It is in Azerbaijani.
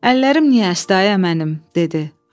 “Əllərim niyə əsdi ayə mənim?” dedi.